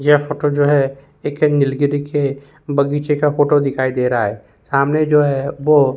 यह फोटो जो है एक ऐंगल की देखिए बग़ीचे का फोटो दिखाई दे रहा है सामने जो है वो --